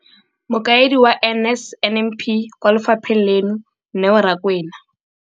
Mokaedi wa NSNP kwa lefapheng leno, Neo Rakwena.